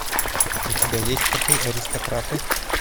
у тебя есть коты аристократы